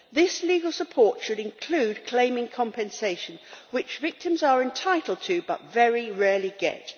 This legal support should include claiming compensation, which victims are entitled to but very rarely get.